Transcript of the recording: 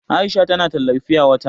Aisha tana tallar fiya wata.